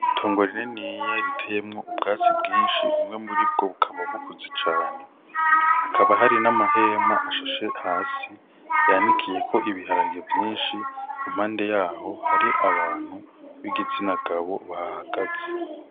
Itongo rininiya riteyemwo ubwatsi bwishi bumwe mu ribwo bukaba bukuze cane hakaba hari n'amahema ashashe hasi yanikiyeko ibiharage vyishi impande yaho hari abantu b'igitsina gabo bahahagaze.